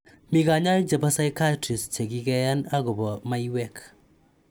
Mi kanyaik chebo pysichiatrists che kikeyan akoba maiyewk